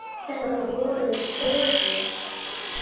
Þetta voru svörin.